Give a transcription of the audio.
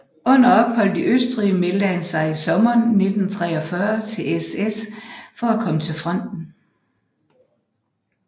Under opholdet i Østrig meldte han sig i sommeren 1943 til SS for at komme til fronten